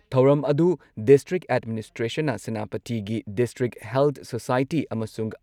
ꯊꯧꯔꯝ ꯑꯗꯨꯨ ꯗꯤꯁꯇ꯭ꯔꯤꯛ ꯑꯦꯗꯃꯤꯅꯤꯁꯇ꯭ꯔꯦꯁꯟꯅ ꯁꯦꯅꯥꯄꯇꯤꯒꯤ ꯗꯤꯁꯇ꯭ꯔꯤꯛ ꯍꯦꯜꯊ ꯁꯣꯁꯥꯏꯇꯤ ꯑꯃꯁꯨꯡ